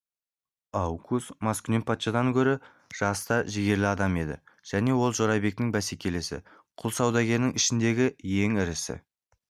оукус маскүнем патшадан гөрі жас та жігерлі адам еді және ол жорабектің бәсекелесі құл саудагерлерінің ішіндегі ең ірісі